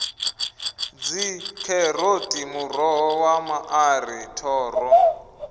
dzikheroti muroho wa maṱari thoro